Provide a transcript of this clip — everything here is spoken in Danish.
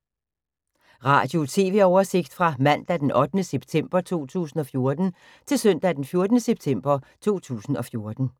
Radio/TV oversigt fra mandag d. 8. september 2014 til søndag d. 14. september 2014